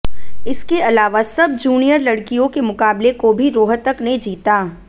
इसके अलावा सब जूनियर लड़कियों के मुकाबले को भी रोहतक ने जीता